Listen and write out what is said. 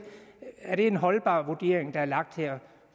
er en holdbar vurdering der er lagt her